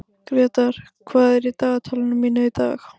Grétar, hvað er á dagatalinu mínu í dag?